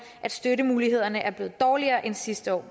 at støttemulighederne er blevet dårligere end sidste år